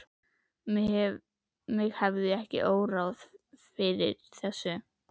mig hefði ekki órað fyrir þessu!